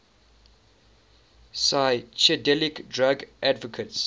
psychedelic drug advocates